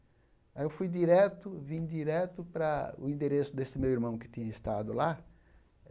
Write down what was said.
Aí eu fui direto, vim direto para o endereço desse meu irmão que tinha estado lá.